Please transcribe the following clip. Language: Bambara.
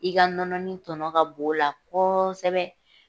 I ka nɔnɔnin tɔnɔ ka bon o la kɔɔsɛbɛ.